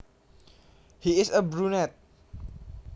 He is a brunet